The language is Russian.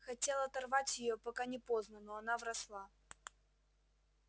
хотел оторвать её пока не поздно но она вросла